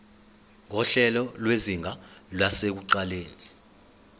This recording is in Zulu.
nguhlelo lwezinga lasekuqaleni